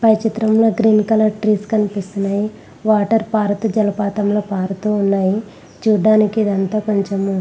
పై చిత్రం లో green colour trees కనిపిస్తున్నాయి. వాటర్ పారుతూ జలపాతంలో పారుతూ ఉన్నాయి.చూడ్డానికి ఇదంతా కొంచెము--